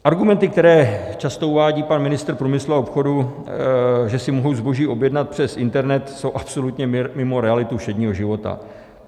Argumenty, které často uvádí pan ministr průmyslu a obchodu, že si mohu zboží objednat přes internet, jsou absolutně mimo realitu všedního života.